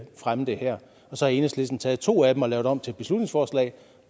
fremme det her så har enhedslisten taget to af dem og lavet dem om til beslutningsforslag